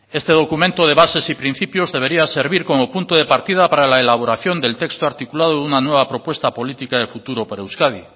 este documento de bases y principios debería servir como punto de partida para la elaboración del texto articulado de una nueva propuesta política de futuro para euskadi